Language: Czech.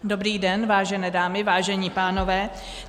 Dobrý den, vážené dámy, vážení pánové.